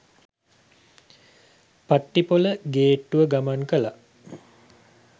පට්ටිපොළ ගේට්ටුව ගමන් කලා.